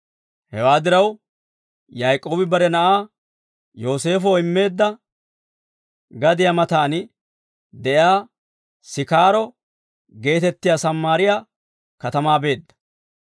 Hewaa diraw, Yaak'oobi bare na'aa Yooseefoo immeedda gadiyaa matan de'iyaa Sikaaro geetettiyaa Sammaariyaa katamaa beedda.